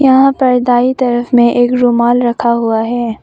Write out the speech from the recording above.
यहां पर दाई तरफ में एक रुमाल रखा हुआ है।